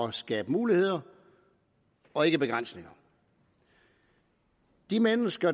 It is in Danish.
at skabe muligheder og ikke begrænsninger de mennesker